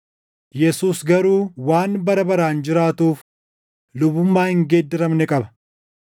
Yesuus garuu waan bara baraan jiraatuuf lubummaa hin geeddaramne qaba.